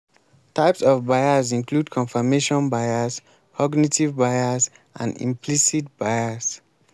types of bias include confirmation bias cognitive bias and implicit bias.